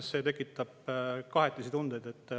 See tekitab kahetisi tundeid.